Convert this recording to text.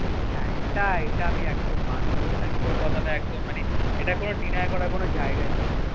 হ্যাঁ এটা এটা আমি একদম মানবো এটা আমি তোর কথাটা একদম মানে এটা কোনো deny করার কোনো জায়গাই নেই